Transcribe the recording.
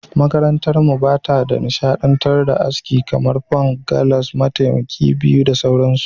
Makarantarmu ba ta nishadantar da aski kamar; Punk, Gallas, Matakai Biyu da sauransu.